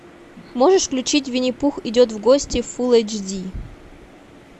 можешь включить винни пух идет в гости фул эйч ди